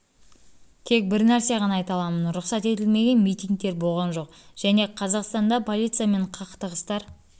бір нәрсе ғана айта аламын рұқсат етілмеген митингтер болған жоқ және де қазақстанда полициямен қақтығыстар